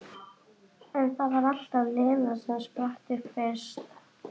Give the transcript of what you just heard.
En það var alltaf Lena sem spratt upp fyrst.